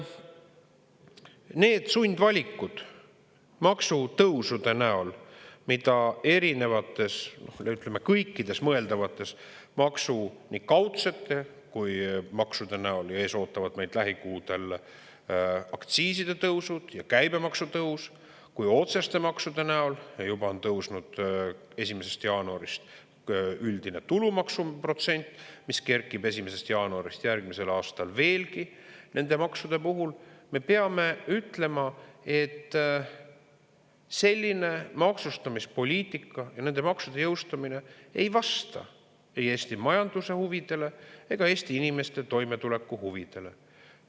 Need sundvalikud maksutõusude näol, mida erinevates, ütleme, kõikide mõeldavate, nii kaudsete maksude näol – ees ootavad meid lähikuudel aktsiiside tõusud ja käibemaksu tõus – kui ka otseste maksude näol – juba on tõusnud 1. jaanuarist üldine tulumaksuprotsent, mis kerkib 1. jaanuarist järgmisel aastal veelgi nende maksude puhul – me peame ütlema, et selline maksustamispoliitika ja nende maksude jõustumine ei vasta ei Eesti majanduse huvidele ega Eesti inimeste toimetuleku huvidele.